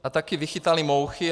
A taky vychytali mouchy.